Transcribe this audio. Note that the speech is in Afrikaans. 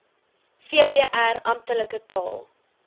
vpr amptelike taal